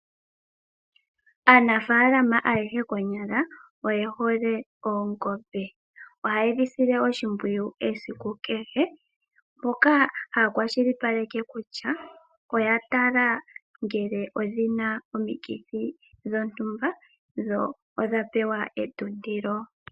Aanafaalama ayehe konyala oyehole oongombe, ohayedhi sile oshimpwiyu esiku kehe mpoka haya kwashilipaleke kutya oyatala ngele odhina omikithi dhontumba dho odhapewa etuntilo.